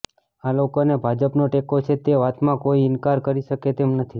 આા લોકોને ભાજપનો ટેકો છે તે વાતમાં કોઇ ઇનકાર કરી શકે તેમ નથી